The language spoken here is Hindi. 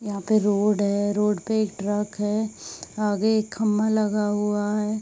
यहाँ पे रोड है। रोड पे एक ट्रक है | आगे एक खम्भा लगा हुआ है।